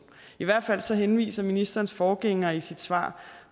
i hvert fald henviser ministerens forgænger i sit svar